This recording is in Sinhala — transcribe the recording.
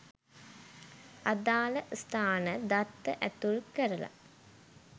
අදාල ස්ථාන දත්ත ඇතුල් කරල